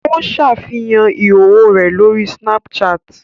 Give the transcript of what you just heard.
Ó ṣàfihàn ìhòòhò rẹ̀ lórí Snapchat